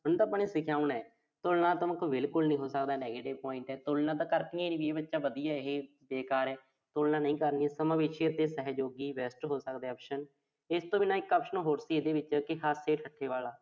ਉਹਨੂੰ ਤਾਂ ਆਪਾਂ ਨੇ ਸਿਖਾਉਣਾ। ਤੁਲਨਾਤਮਕ, ਬਿਲਕੁਲ ਨੀਂ ਹੋ ਸਕਦਾ। negative point ਆ। ਤਲਨਾ ਤਾਂ ਕਰਨੀਂ ਨੀਂ ਵੀ ਇਹੇ ਵਧੀਆ, ਇਹੇ ਬੇਕਾਰ ਆ। ਤੁਲਨਾ ਨਹੀਂ ਕਰਨੀਂ। ਸਮਾਵੇਸ਼ੀ ਅਤੇ ਸਹਿਯੋਗੀ best ਹੋ ਸਕਦਾ option ਇਸ ਤੋਂ ਬਿਨਾਂ ਇੱਕ option ਹੋਰ ਸੀ ਇਹਦੇ ਵਿੱਚ ਕਿ ਹਾਸੇ-ਠੱਠੇ ਵਾਲਾ।